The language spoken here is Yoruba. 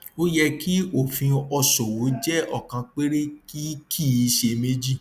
ó yẹ kí òfin òṣòwò jẹ ọkan péré kì kì í ṣe méjì